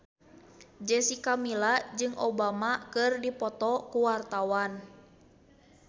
Jessica Milla jeung Obama keur dipoto ku wartawan